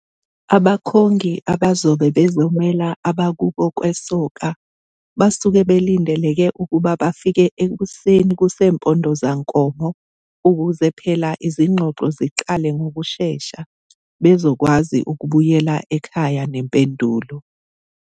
Abakhongi abazobe bezomela abakubo kwesoka basuke belindeleke ukuba bafike ekuseni kusempomdozankomo ukuze phela izigxogxo ziqala ngokushesha bezokwazi ukubuyela ekhaya nempendulo.